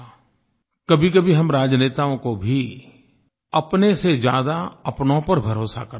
कभीकभी हम राजनेताओं को भी अपने से ज़्यादा अपनों पर भरोसा करना चाहिये